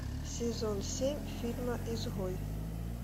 сезон семь фильма изгой